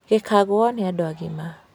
gĩkagũo nĩ andũ agima